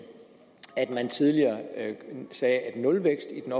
at man tidligere sagde at nulvækst i den